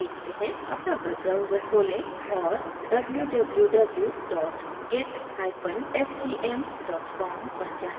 अपना web browser खोलें और www gitscm com पर जाएँ